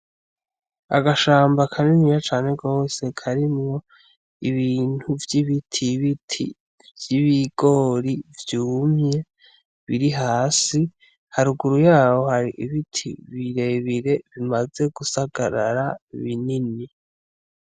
Agashamba akanini ya cane gose karimwo ibintu vy'ibiti biti vy'ibigori vyumye biri hasi haruguru yabo hari ibiti birebire bimaze gusagarara binini.